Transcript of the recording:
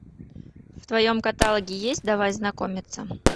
в твоем каталоге есть давай знакомиться